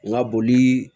N ka boli